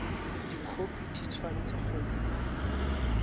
dikhopi di tshwanetse go nna